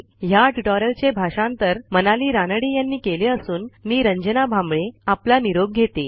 ह्या ट्युटोरियलचे भाषांतर मनाली रानडे यांनी केले असून मी रंजना भांबळे आपला निरोप घेते160